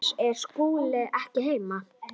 LÁRUS: Er Skúli ekki heima?